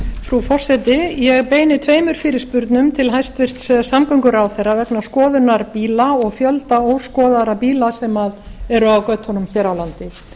frú forseti ég beini tveimur fyrirspurnum til hæstvirts samgönguráðherra vegna skoðunar bíla og fjölda óskoðaðra bíla sem eru á götunum hér á landi